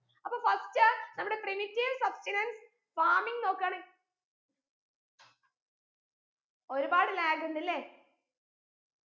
അപ്പൊ first അഹ് നമ്മുടെ primitive substenance farming നോക്കാണെ ഒരു പാട് lag ഉണ്ടല്ലേ